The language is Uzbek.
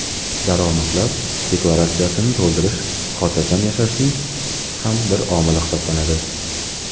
Daromadlar deklaratsiyasini to‘ldirish xotirjam yashashning ham bir omili hisoblanadi.